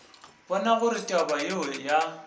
bona gore taba yeo ya